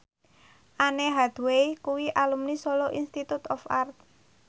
Anne Hathaway kuwi alumni Solo Institute of Art